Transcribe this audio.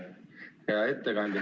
Hea ettekandja!